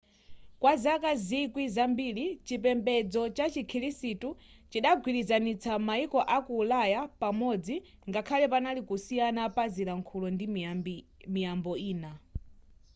kwa zaka zikwi zambiri chipembedzo cha chikhirisitu chidagwirizanitsa mayiko aku ulaya pamodzi ngakhale panali kusiyana pa zilankhulo ndi miyambo ine